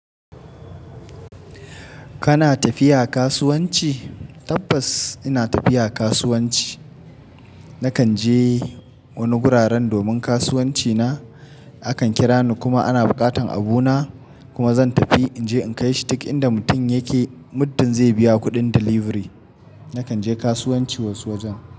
Kana tafiya kasuwanci? Tabbas ina tafiya kasuwanci. Nakan je wani guraren domin kasuwanci na. Akan kira ni kuma ana buƙatan abu na kuma zan tafi inje in kai shi dik in da mutum yake muddin zai biya kuɗin delivery. Nakan je kasuwanci wasu wajen.